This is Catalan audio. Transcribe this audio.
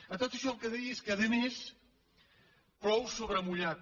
a tot això el que dic és que a més plou sobre mullat